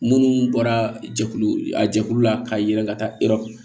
Munnu bɔra jɛkulu a jɛkulu la ka yɛlɛ ka taa